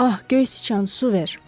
Ah, göy siçan, su ver.